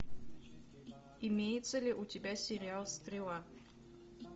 имеется ли у тебя сериал стрела